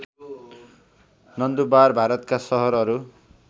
नन्दुरबार भारतका सहरहरू